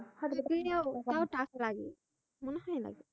থাকলে তাও টাকা লাগে মনে হয় না